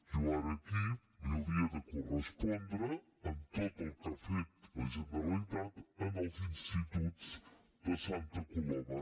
jo ara aquí li hauria de correspondre amb tot el que ha fet la generalitat en els instituts de santa coloma